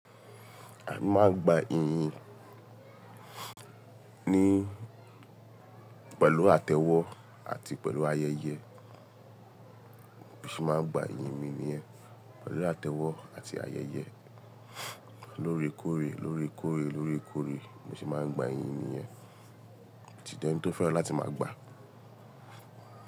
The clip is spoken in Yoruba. A máa ń gba ìyìn ní pẹ̀lú àtẹ́wọ́ àti pẹ̀lú ayẹyẹ. Bí mo ṣe máa ń gba ìyìn mi nìyẹn, pẹ̀lú àtẹ́wọ́ àti ayẹyẹ. Lóòrèkóòrè lóòrèkóòrè lóòrèkóòrè mo sì máa ń gba ìyìn mi nìyẹn. Tí di ẹni tó fẹ́ràn láti máa gba.